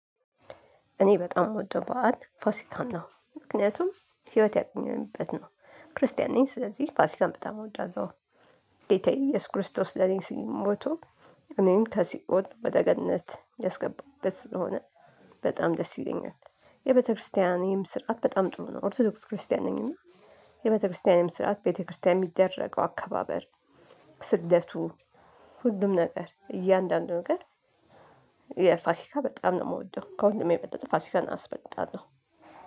እኔ በጣም የምወደው በዓል ፋሲካን ነው ምክንያቱም ህይወት ያገኘንበት ነው ክርስቲያን ነኝ ስለዚህ ፋሲካን በጣም እወዳለሁ። ጌታዬ ኢየሱስ ክርስቶስ ለኔ ሲል ሞቱ። እኔን ከሲኦል ወደ ገነት ያስገባበት ስለሆነ። በጣም ደስ ይለኛል። የቤተክርስቲያኔም ስርዓት በጣም ጥሩ ነው ኦርቶዶክስ ክርስቲያን ነኝ። እና የቤተክርስቲያኔም ስርዓት ቤተክርስቲያን የሚደረገው አካባበር ስደቱ ሁሉም ነገር እያንዳንዱ ነገር። የፋሲካ በጣም ነው የምወደው ከሁሉም የበለጠ ፋሲፋን አስበጥጣለሁ።